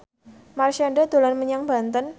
Marshanda dolan menyang Banten